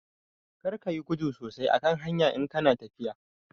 Karka yi gudu sosai a kan hanya in kana tafiya